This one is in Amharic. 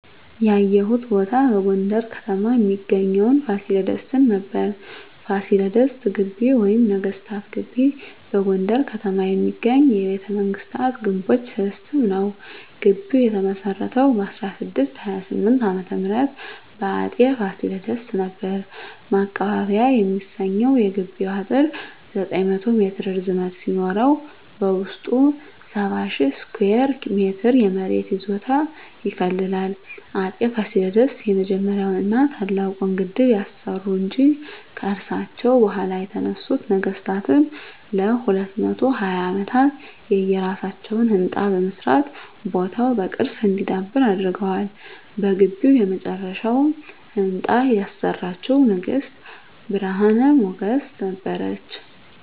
ያየሁት ቦታ በጎንደር ከተማ እሚገኘዉን ፋሲለደስን ነበር። ፋሲለደስ ግቢ ወይም ነገስታት ግቢ በጎንደር ከተማ የሚገኝ የቤተመንግስታት ግምቦች ስብስብ ነዉ። ግቢዉ የተመሰረተዉ በ1628 ዓ.ም በአፄ ፋሲለደስ ነበር። ማቀባበያ የሚሰኘዉ የግቢዉ አጥር 900 ሜትር ርዝመት ሲኖረዉ በዉስጡ 70,000 ስኩየር ሜትር የመሬት ይዞታ ይከልላል። አፄ ፋሲለደስ የመጀመሪያዉን ና ታላቁን ግድብ ያሰሩ እንጂ፣ ከርሳቸዉ በኋላ የተነሱት ነገስታትም ለ220 አመታት የየራሳቸዉን ህንፃ በመስራት ቦታዉ በቅርስ እንዲዳብር አድርገዋል። በግቢዉ የመጨረሻዉን ህንፃ ያሰራችዉ ንግስት ብርሀን ሞገስ ነበረች።